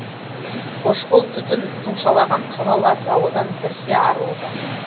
қошқыл түтін тұмшалаған қала лас ауадан бірсе арылуда